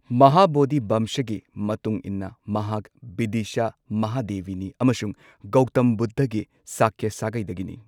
ꯃꯍꯥꯕꯣꯙꯤ ꯚꯝꯁꯒꯤ ꯃꯇꯨꯡ ꯏꯟꯅ ꯃꯍꯥꯛ ꯕꯤꯗꯤꯁꯥ ꯃꯍꯥꯗꯦꯕꯤꯅꯤ ꯑꯃꯁꯨꯡ ꯒꯧꯇꯝ ꯕꯨꯙꯒꯤ ꯁꯥꯀ꯭ꯌ ꯁꯥꯒꯩꯗꯒꯤꯅꯤ꯫